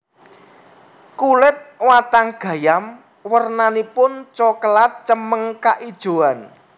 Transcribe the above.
Kulit watang gayam wernanipun cokelat cemeng kaijoan